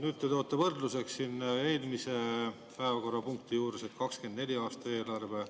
Nüüd te toote võrdluseks siin eelmise päevakorrapunkti ehk 2024. aasta eelarve.